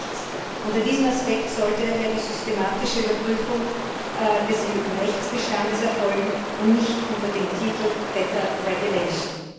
Nichts! Unter diesem Aspekt sollte daher die systematische Überprüfung des EU Rechtsbestandes erfolgen, und nicht unter dem Titel Better Regulation.